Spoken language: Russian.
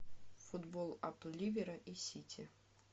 футбол апл ливера и сити